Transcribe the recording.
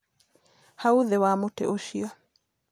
Hau thĩ wa mutĩ ũcio.